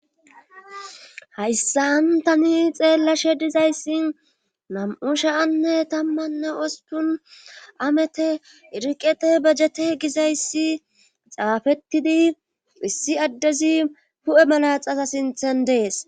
hayssantani xeellashe dizayssi nam7u shaanne tammanne ostun amete iriqete bejete gizayssi xaafettidi issi addezi hu7e malaxasa sinthen dees